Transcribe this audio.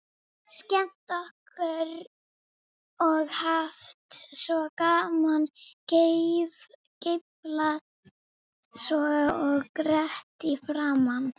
Skemmt okkur og haft svo gaman, geiflað svo og grett í framan.